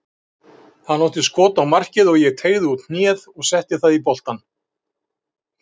Hann átti skot á markið og ég teygði út hnéð og setti það í boltann.